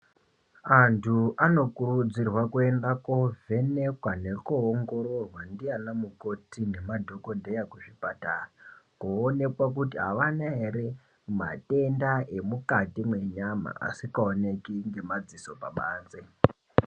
Antu anokurudzirwa kuenda kovhenekwa ,nekoongororwa ndiyana mukoti nemadhokodheya kuzvipatara, kowonekwa kuti avana ere madenda emukati mwenyama ,asikaoneki ngemadziso pabanze.